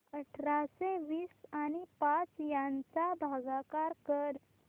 अठराशे वीस आणि पाच यांचा भागाकार कर